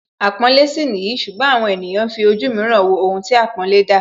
Àpọ́nlé sì nìyí ṣùgbọ́n àwọn ènìyàn ń fi ojú mìíràn wo ohun tí àpọ́nlé ń dá